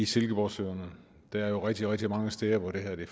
silkeborgsøerne der er jo rigtig rigtig mange steder hvor det